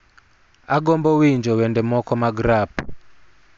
Agombo winjo wende moko mag rap